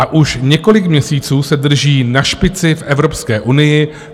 A už několik měsíců se drží na špici v Evropské unii.